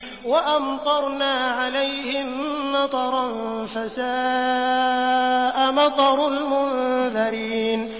وَأَمْطَرْنَا عَلَيْهِم مَّطَرًا ۖ فَسَاءَ مَطَرُ الْمُنذَرِينَ